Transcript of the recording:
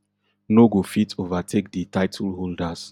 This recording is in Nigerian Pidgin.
no go fit overtake di title holders